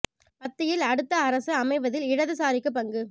மத்தியில் அடுத்த அரசு அமைவதில் இடதுசாரிக்கு பங்கு